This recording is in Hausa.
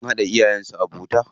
Sun haɗa iyayen su abokanta.